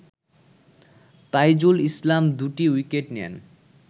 তাইজুল ইসলাম দুটি উইকেট নেন